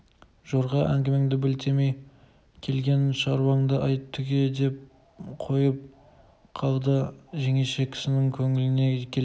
жорға әңгімеңді білтелемей келген шаруанды айт түге деп қойып қалды жеңеше кісінің көңіліне келеді